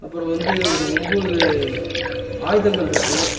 அப்புறோ வந்து ஒரு ஒம்போது ஆயுதங்கள்ருக்கு.